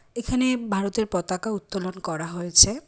এখানে ভারতের পতাকা উত্তোলন করা হয়েছে।